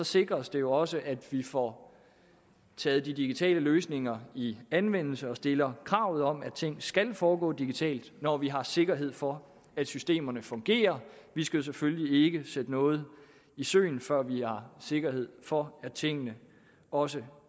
sikres det jo også at vi får taget de digitale løsninger i anvendelse og stiller krav om at ting skal foregå digitalt når vi har sikkerhed for at systemerne fungerer vi skal jo selvfølgelig ikke sætte noget i søen før vi har sikkerhed for at tingene også